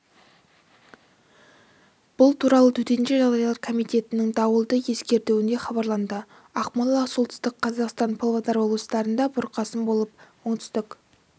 бұл туралы төтенше жағдайлар комитетінің дауылды ескертуінде хабарланды ақмола солтүстік қазақстан павлодар облыстарында бұрқасын болып оңтүстік